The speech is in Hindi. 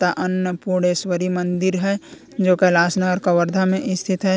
यह अन्नपूर्णेश्वरी मंदिर है जो कैलाश नगर कवर्धा में स्थित है।